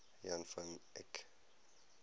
jan van eyck